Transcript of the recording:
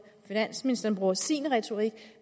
finansministeren bruger sin retorik